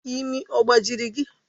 Imi ọ gbajiri gị?